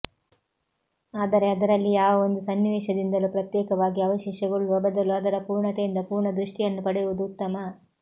ಆದರೆ ಅದರಲ್ಲಿ ಯಾವ ಒಂದು ಸನ್ನಿವೇಶದಿಂದಲೂ ಪ್ರತ್ಯೇಕವಾಗಿ ಅವೇಶಗೊಳ್ಳುವ ಬದಲು ಅದರ ಪೂರ್ಣತೆಯಿಂದ ಪೂರ್ಣದೃಷ್ಟಿಯನ್ನು ಪಡೆಯುವುದು ಉತ್ತಮ